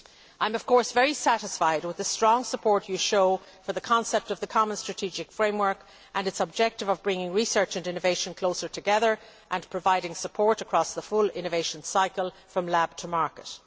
I am of course very satisfied with the strong support you show for the concept of the common strategic framework and its objective of bringing research and innovation closer together and providing support across the full innovation cycle, from lab to market.